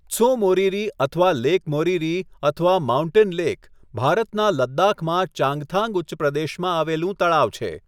ત્સો મોરિરી અથવા લેક મોરિરી અથવા 'mountain lake', ભારતના લદ્દાખમાં ચાંગથાંગ ઉચ્ચપ્રદેશમાં આવેલું તળાવ છે.